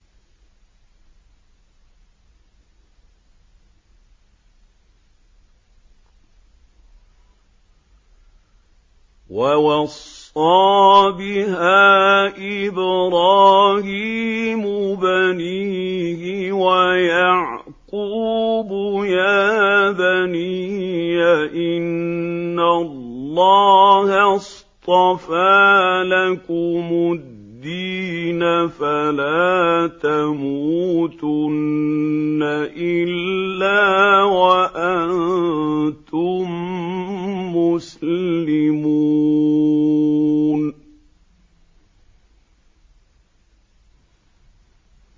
وَوَصَّىٰ بِهَا إِبْرَاهِيمُ بَنِيهِ وَيَعْقُوبُ يَا بَنِيَّ إِنَّ اللَّهَ اصْطَفَىٰ لَكُمُ الدِّينَ فَلَا تَمُوتُنَّ إِلَّا وَأَنتُم مُّسْلِمُونَ